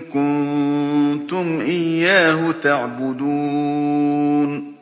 كُنتُمْ إِيَّاهُ تَعْبُدُونَ